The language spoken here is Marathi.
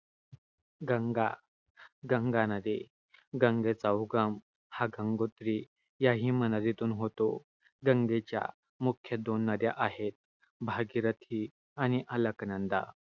गंगा. गंगा नदी. गंगेचा उगम हा गंगोत्री या हिमनदीतून होतो. गंगेच्या मुख्य दोन नद्या आहेत, भागीरथी आणि अलकनंदा.